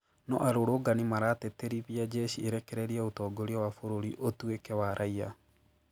No arũrũngani maratĩtĩrithia jeshi ĩrekererie ũtongoria wa bũrũri ũtuĩke wa raiya.